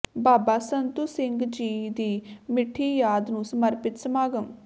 ਬਾਬਾ ਸੰਤੂ ਸਿੰਘ ਜੀ ਦੀ ਮਿੱਠੀ ਯਾਦ ਨੂੰ ਸਮਰਪਿਤ ਸਮਾਗਮ